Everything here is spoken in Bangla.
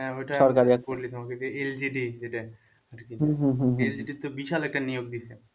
ওইটা LGD যেটায় আরকি LGD তো বিশাল একটা নিয়োগ দিয়েছে।